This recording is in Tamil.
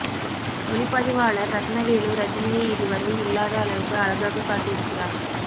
ஒளிப்பதிவாளர் ரத்னவேலு ரஜினியை இதுவரை இல்லாத அளவுக்கு அழகாக காட்டியிருக்கிறார்